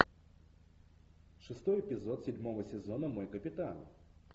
шестой эпизод седьмого сезона мой капитан